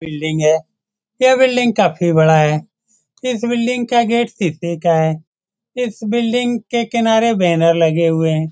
Building है यह building काफी बड़ा है इस बिल्डिंग का गेट शीशे का है इस बिल्डिंग के किनारे बैनर लगे हुए हैं।